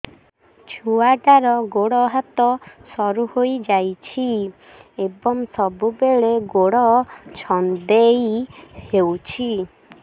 ଛୁଆଟାର ଗୋଡ଼ ହାତ ସରୁ ହୋଇଯାଇଛି ଏବଂ ସବୁବେଳେ ଗୋଡ଼ ଛଂଦେଇ ହେଉଛି